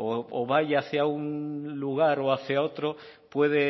o vaya hacia un lugar o hacia otro puede